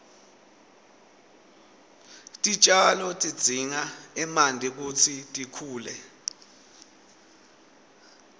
titjalo tidzinga emanti kutsi tikhule